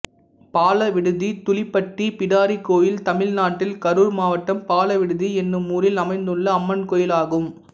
பாலவிடுதி தூலிப்பட்டி பிடாரி கோயில் தமிழ்நாட்டில் கரூர் மாவட்டம் பாலவிடுதி என்னும் ஊரில் அமைந்துள்ள அம்மன் கோயிலாகும்